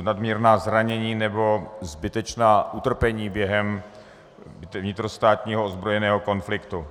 nadměrná zranění nebo zbytečná utrpení během vnitrostátního ozbrojeného konfliktu.